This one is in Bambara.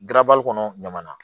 Garabali kɔnɔ ɲamana